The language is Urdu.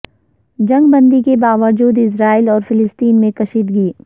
جنگ بندی کے باوجود اسرائیل اور فلسطین میں کشیدگی